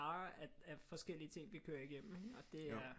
Af forskellige ting vi kører igennem og det er